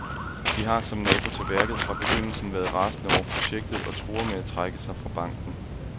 De har, som nabo til værket, fra begyndelsen været rasende over projektet og truer med at trække sig fra banken.